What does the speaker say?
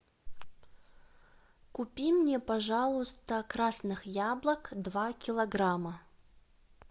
купи мне пожалуйста красных яблок два килограмма